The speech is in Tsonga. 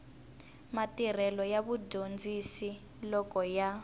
matirhelo ya vadyondzi loko ya